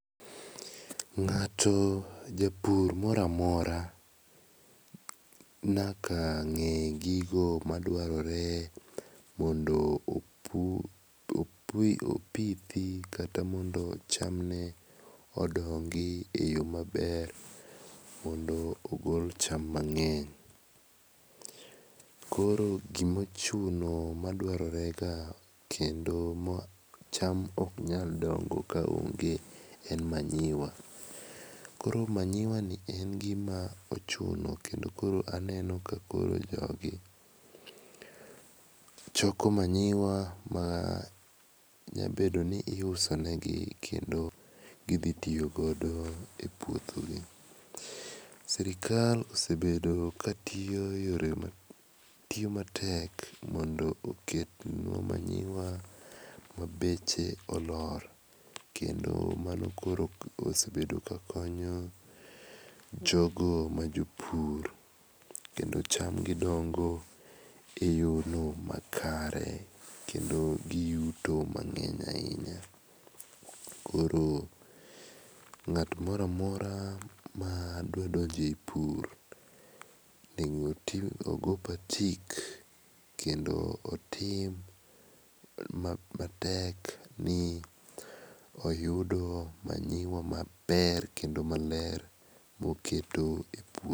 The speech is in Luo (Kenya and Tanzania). Ng'ato japur moro amora nyaka ng'e gigo madwarore mondo opu opithi kata mondo cham ne odong eyo maber mondo ogol cham mang'eny. Koro gima ochuno dwarore ga kendo ma cham ok nyal dongo kaonge en manyiwa. Koro manyiwani en gima ochuno ken do koro aneno kakoro jogi choko manyiwa ma nyalo bedo ni iuso negi kendo gidhio tiyo godo epuothegi. Sirkal osebedo ka tiyo matek mondo okel manyiwa ma beche olor kendo mano osebedo kakon yo jogo majopur kendo cham gi osebet kadongo eyo makare kendo giyuto mang'eny ahinya. Koro ng'at moro amora madwa donjepur onego ogo patik kendo otim matek ni oyudo manyiwa maber kendo maler moketo e puo